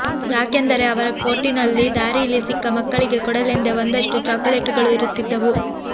ಯಾಕೆಂದರೆ ಅವರ ಕೋಟಿನಲ್ಲಿ ದಾರೀಲಿ ಸಿಕ್ಕ ಮಕ್ಕಳಿಗೆ ಕೊಡಲೆಂದೇ ಒಂದಷ್ಟು ಚಾಕೊಲೇಟುಗಳು ಇರುತ್ತಿದ್ದವು